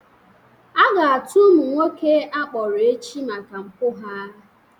A ga-atụ ụmụ nwoke a mkpọrọ echi maka mpụ ha